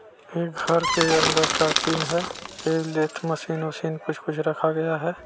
ये घर के अंदर का सीन है ये लेत मशीन उसीन कुछ-कुछ रखा गया है।